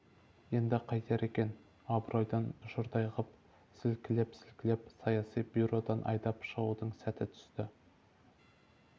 енді қайтер екен абыройдан жұрдай ғып сілкілеп-сілкілеп саяси бюродан айдап шығудың сәт түсті